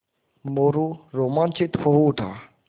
मोरू रोमांचित हो उठा